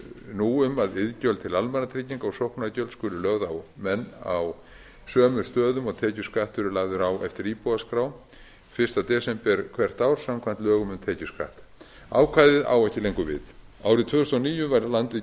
nú um að iðgjöld til almannatrygginga og sóknargjöld skuli lögð á menn á sömu stöðum og tekjuskattur er lagður á eftir íbúaskrá fyrsta desember hvert ár samkvæmt lögum um tekjuskatt ákvæðið á ekki lengur við árið tvö þúsund og níu var landið